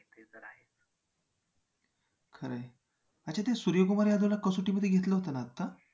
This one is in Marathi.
खरं आहे. अच्छा ते सूर्यकुमार यादवला कसोटीमध्ये घेतलं होतं ना आता?